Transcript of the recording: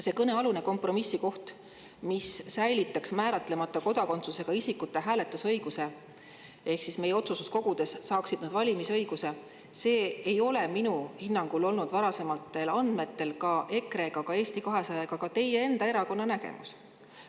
See kõnealune kompromissikoht, mis säilitaks määratlemata kodakondsusega isikute hääletusõiguse, ehk siis nad saaksid meie otsustuskogude valimise õiguse – see ei ole minu hinnangul olnud varasematel andmetel ka EKRE ega Eesti 200 ega ka teie enda erakonna nägemus.